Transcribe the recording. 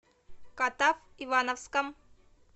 катав ивановском